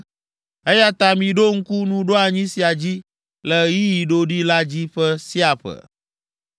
Eya ta miɖo ŋku nuɖoanyi sia dzi le ɣeyiɣi ɖoɖi la dzi ƒe sia ƒe.